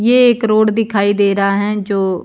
ये एक रोड दिखाई दे रहा हैं जो--